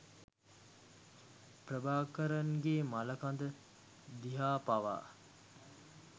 ප්‍රභාකරන්ගේ මළකඳ දිහා පවා